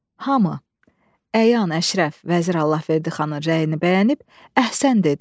Hamı əyan-əşrəf, vəzir Allahverdi xanın rəyini bəyənib əhsən dedi.